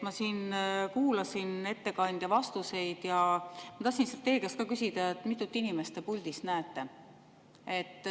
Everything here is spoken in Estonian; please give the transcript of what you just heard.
Ma siin kuulasin ettekandja vastuseid ja ma tahtsin lihtsalt teie käest küsida, mitut inimest te puldis näete.